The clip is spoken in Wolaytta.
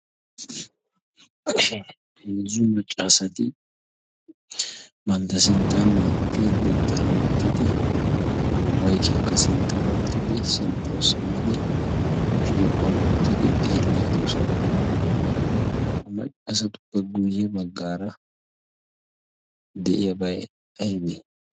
heezzu macca asati bantta sinttanaa ati nutara oottidi maykiyaakka sinttara oottidi sinttawu simmidi shiiquwan uuttidi xeelli diyoosona? ha maccaasatu peguyye baggaara de'iyaabay aybee?